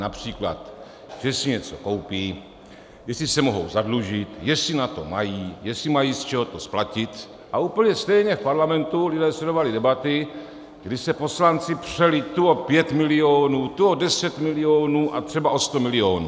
Například že si něco koupí, jestli se mohou zadlužit, jestli na to mají, jestli mají z čeho to splatit, a úplně stejně v Parlamentu lidé sledovali debaty, kdy se poslanci přeli tu o 5 milionů, tu o 10 milionů a třeba o 100 milionů.